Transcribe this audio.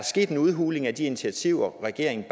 sket en udhuling af de initiativer regeringen